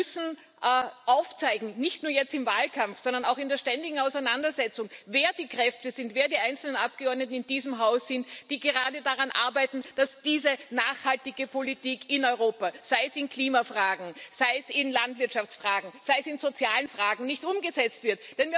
Wir müssen aufzeigen nicht nur jetzt im Wahlkampf, sondern auch in der ständigen Auseinandersetzung wer die Kräfte sind, wer die einzelnen Abgeordneten in diesem Haus sind, die gerade daran arbeiten, dass diese nachhaltige Politik in Europa sei es in Klimafragen, sei es in Landwirtschaftsfragen, sei es in sozialen Fragen nicht umgesetzt wird.